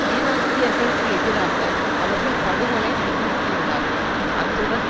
ஈராக்கியர்களுக்கு எதிராக அவர்கள் படுகொலை நிகழ்த்தியுள்ளார்கள் அத்துடன்